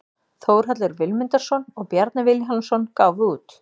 Þórhallur Vilmundarson og Bjarni Vilhjálmsson gáfu út.